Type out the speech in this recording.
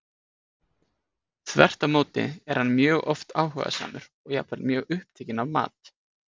Þvert á móti er hann mjög oft áhugasamur og jafnvel mjög upptekinn af mat.